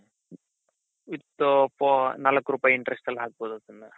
ಇತ್ತು four ನಾಲ್ಕು ರೂಪಾಯಿ interestಅಲ್ಲಿ ಹಾಕ್ಬಹುದು ಅದನ್ನ .